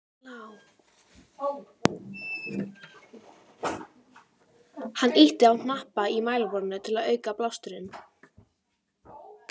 Hann ýtti á hnappa í mælaborðinu til að auka blásturinn.